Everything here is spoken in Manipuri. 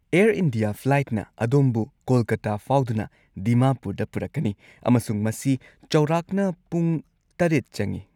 ꯑꯦꯔ ꯏꯟꯗꯤꯌꯥ ꯐ꯭ꯂꯥꯏꯠꯅ ꯑꯗꯣꯝꯕꯨ ꯀꯣꯜꯀꯥꯇꯥ ꯐꯥꯎꯗꯨꯅ ꯗꯤꯃꯥꯄꯨꯔꯗ ꯄꯨꯔꯛꯀꯅꯤ ꯑꯃꯁꯨꯡ ꯃꯁꯤ ꯆꯥꯎꯔꯥꯛꯅ ꯄꯨꯡ ꯷ ꯆꯪꯉꯤ꯫